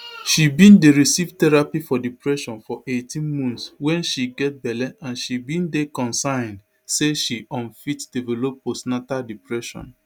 she bin dey receive therapy for depression for eighteen months wen she get belle and she bin dey concerned say she um fit develop postnatal depression